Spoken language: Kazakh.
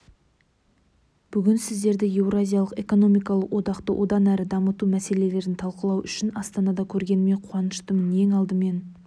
бүгін сіздерді еуразиялық экономикалық одақты одан әрі дамыту мәселелерін талқылау үшін астанада көргеніме қуаныштымын ең алдымен